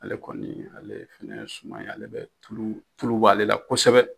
Ale kɔni ale fana ye suma ye ale bɛ tulu, tula bɛ ale la kosɛbɛ